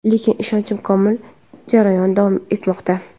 Lekin ishonchim komil, jarayon davom etmoqda.